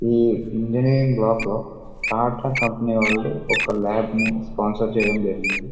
ఈ ఇంజనీరింగ్ బ్లాక్లో టాటా కంపెనీ వాళ్లు ఒక లేబనీ స్పాన్సర్ చేయడం జరిగింది.